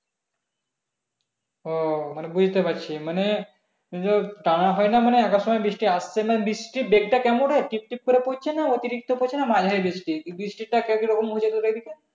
ও মানে বুঝতে পারছি মানে . টানা হয় না মানে এক আধ সময় বৃষ্টি আসছে মানে বৃষ্টির বেগ টা কেমন রে? টিপটিপ করে পড়ছে না অতিরিক্ত পড়ছে না মাঝারি বৃষ্টি বৃষ্টিটা কে কিরকম হচ্ছে তোদের ওইদিকে?